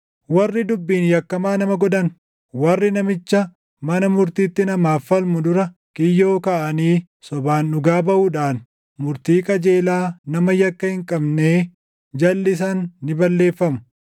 warri dubbiin yakkamaa nama godhan, warri namicha mana murtiitti namaaf falmu dura kiyyoo kaaʼanii sobaan dhugaa baʼuudhaan murtii qajeelaa nama yakka hin qabnee jalʼisan ni balleeffamu.